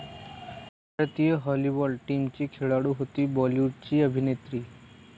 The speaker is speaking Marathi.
भारतीय व्हॉलीबॉल टीमची खेळाडू होती बॉलिवूडची 'ही' अभिनेत्री